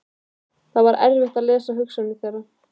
Það var erfitt að lesa hugsanir þeirra.